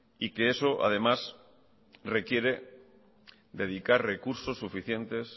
y que eso además requiere dedicar recursos suficientes